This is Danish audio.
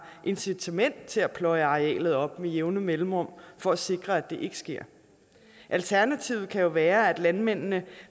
incitament til at pløje arealet op med jævne mellemrum for at sikre at det ikke sker alternativet kan være at landmændene